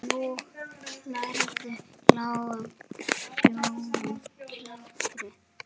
Nú hlærðu, lágum hrjúfum hlátri.